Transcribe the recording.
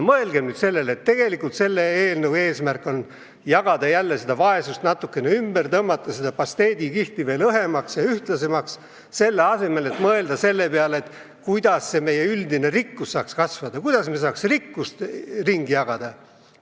Mõelgem nüüd sellele, et eelnõu eesmärk on jagada jälle seda vaesust natuke ümber, tõmmata seda pasteedikihti veel õhemaks ja ühtlasemaks, selle asemel et mõelda selle peale, kuidas meie üldine rikkus saaks kasvada, kuidas me saaks rikkust ringi jagada.